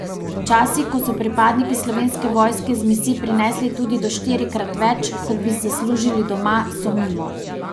Časi, ko so pripadniki Slovenske vojske z misij prinesli tudi do štirikrat več, kot bi zaslužili doma, so mimo.